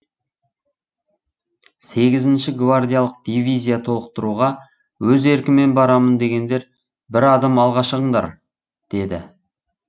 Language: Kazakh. сегізінші гвардиялық дивизия толықтыруға өз еркімен барамын дегендер бір адым алға шығындар деді